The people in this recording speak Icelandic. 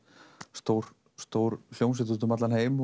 stór stór hljómsveit úti um allan heim